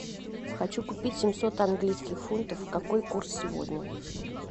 хочу купить семьсот английских фунтов какой курс сегодня